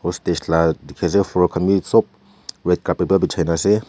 la dekhi ase frock khan bi sob red carpet para bechaikena ase.